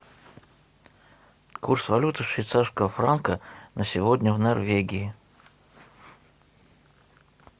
курс валюты швейцарского франка на сегодня в норвегии